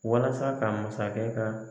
Walasa ka masakɛ ka